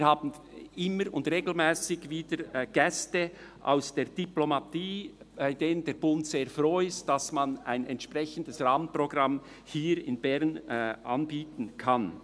Wir haben immer wieder und regelmässig Gäste aus der Diplomatie, wo der Bund sehr froh ist, dass man hier in Bern ein entsprechendes Rahmenprogramm anbieten kann.